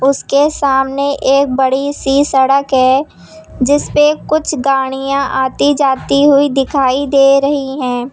उसके सामने एक बड़ी सी सड़क है जिसपे कुछ गाड़ियां आती जाती हुई दिखाई दे रही हैं।